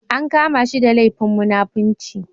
An kama shi da laifin munafinci.